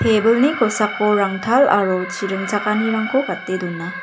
tebilni kosako rangtal aro chi ringchakanirangko gate dona.